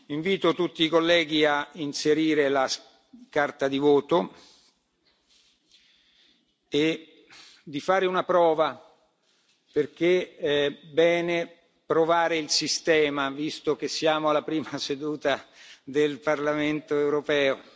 Invito tutti i colleghi a inserire scheda di voto e a fare una prova perché è bene testare il sistema, visto che siamo alla prima seduta del Parlamento europeo.